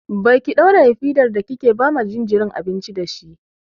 Baki ɗauraye fidar ba kike ba ma jinjirin abinci dashi.